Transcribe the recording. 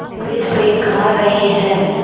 मज़े से खा रहे हैं